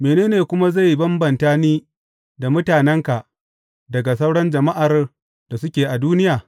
Mene ne kuma zai bambanta ni da mutanenka daga sauran jama’ar da suke a duniya?